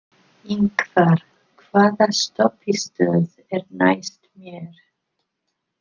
Ingvar, hvaða stoppistöð er næst mér?